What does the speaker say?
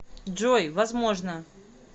джой возможно